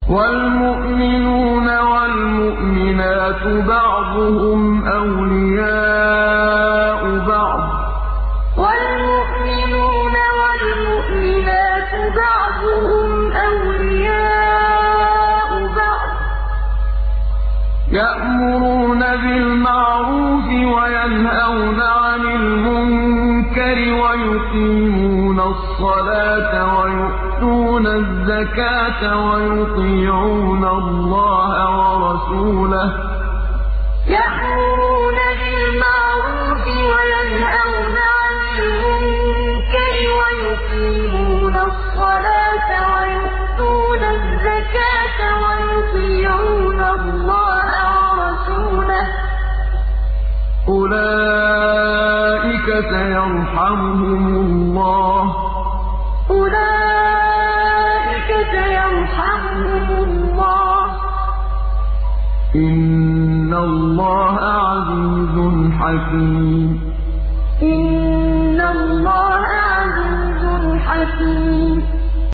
وَالْمُؤْمِنُونَ وَالْمُؤْمِنَاتُ بَعْضُهُمْ أَوْلِيَاءُ بَعْضٍ ۚ يَأْمُرُونَ بِالْمَعْرُوفِ وَيَنْهَوْنَ عَنِ الْمُنكَرِ وَيُقِيمُونَ الصَّلَاةَ وَيُؤْتُونَ الزَّكَاةَ وَيُطِيعُونَ اللَّهَ وَرَسُولَهُ ۚ أُولَٰئِكَ سَيَرْحَمُهُمُ اللَّهُ ۗ إِنَّ اللَّهَ عَزِيزٌ حَكِيمٌ وَالْمُؤْمِنُونَ وَالْمُؤْمِنَاتُ بَعْضُهُمْ أَوْلِيَاءُ بَعْضٍ ۚ يَأْمُرُونَ بِالْمَعْرُوفِ وَيَنْهَوْنَ عَنِ الْمُنكَرِ وَيُقِيمُونَ الصَّلَاةَ وَيُؤْتُونَ الزَّكَاةَ وَيُطِيعُونَ اللَّهَ وَرَسُولَهُ ۚ أُولَٰئِكَ سَيَرْحَمُهُمُ اللَّهُ ۗ إِنَّ اللَّهَ عَزِيزٌ حَكِيمٌ